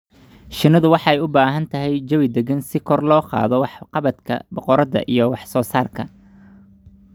Shinnidu waxay u baahan tahay jawi degan si kor loogu qaado waxqabadka boqoradda ee wax soo saarka.